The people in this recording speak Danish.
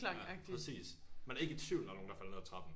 Ja præcis man er ikke i tvivl om der var nogen der faldt ned af trappen